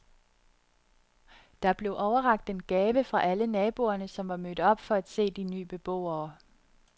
Der blev overrakt en gave fra alle naboerne, som var mødt op for at se de ny beboere.